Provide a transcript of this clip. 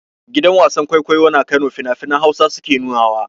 Gidan wasan-kwaikwayo na kano fina-finan hausa suke nuna wa.